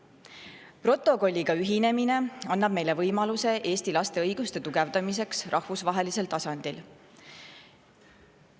Protokolliga ühinemine annab meile võimaluse tugevdada Eesti laste õigusi rahvusvahelisel tasandil.